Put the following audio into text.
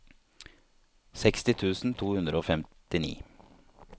seksti tusen to hundre og femtini